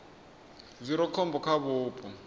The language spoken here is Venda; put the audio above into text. zwi re khombo kha vhupo